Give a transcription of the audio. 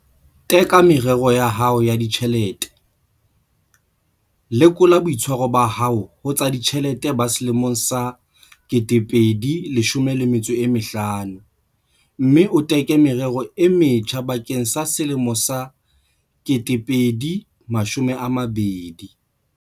Teka merero ya hao ya ditjhelete, lekola boitshwaro ba hao ho tsa ditjhelete ba selemo sa 2019 mme o teke merero e metjha bakeng sa selemo sa 2020.